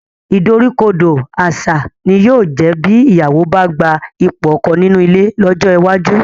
Ìdoríkodò àṣà ni yóò jẹ́ bí ìyàwó bá gba ipò ọkọ nínú ilé lọ́jọ́ iwájú